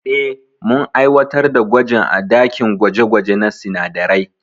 Eh, mun aiwatar da gwajin a dakin gwaje gwaje na sinadarai.